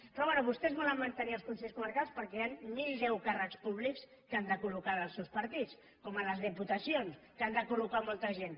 però bé vostès volen mantenir els consells comarcals perquè hi han mil deu càrrecs públics que han de col·locar dels seus partits com a les diputacions que han de col·locar molta gent